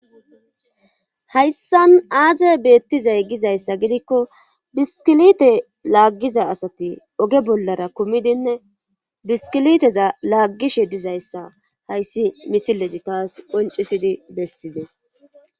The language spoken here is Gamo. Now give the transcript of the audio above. hayssan aazey beettizay gizayssa gidikko biskilite laaggiza asati oge bollara kumidinne biskiliteza laaggishe dizayssa hayssi misilezi taas qoncisidi bessides